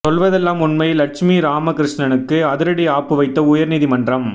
சொல்வதெல்லாம் உண்மை லட்சுமி ராமகிருஷ்ணனுக்கு அதிரடி ஆப்பு வைத்த உயர்நீதி மன்றம்